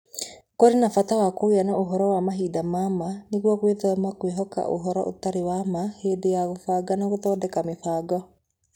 Kũrĩ na bata wa kũgĩa na ũhoro wa mahinda ma ma, nĩguo gwĩthema kwĩhoka ũhoro ũtarĩ wa ma hĩndĩ ya kũbanga na gũthondeka mĩbango.